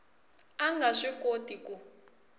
a nga swi koti ku